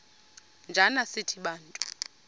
njana sithi bantu